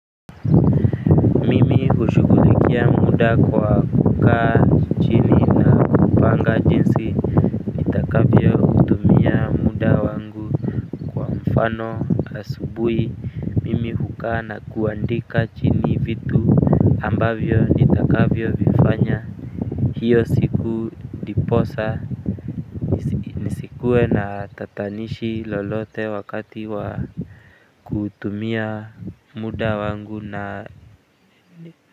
Mimi hushughulikia mda kwa kukaa chini na kupanga jinsi nitakavyo tumia mda wangu. Mfano asubuhi mimi hukaa na kuandika chini vitu, ambavyo nitakavyo vifanya hiyo siku ndiposa, nisikuwe na tatanishi lolote wakati wa kutumia, mda wangu na ni,